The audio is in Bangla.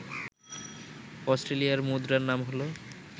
অস্ট্রেলিয়ার মুদ্রার নাম হল